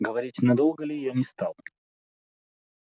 говорить надолго ли я не стал